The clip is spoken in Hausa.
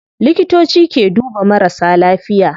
Likitoci ke duba marasa lafiya